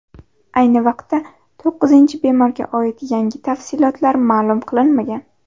Ayni vaqtda to‘qqizinchi bemorga oid yangi tafsilotlar ma’lum qilinmagan.